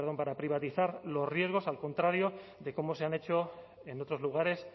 para privatizar los riesgos al contrario de cómo se han hecho en otros lugares